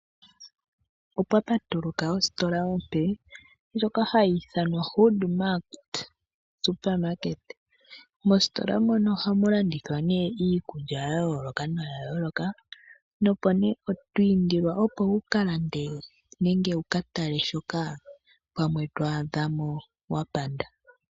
Opwa patuluka ositola ompe, omaalaka ndjoka hayi ithanwa Hood Mart. Mositola mono ohamu landithwa nee iikulya ya yoolokathana, nopo nee oto indilwa opo wu ka lande nenge wu ka tale shoka to a dha mo wa panda.